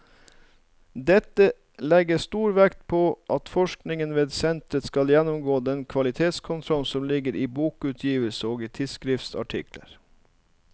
Dette legges stor vekt på at forskningen ved senteret skal gjennomgå den kvalitetskontroll som ligger i bokutgivelser og i tidsskriftsartikler.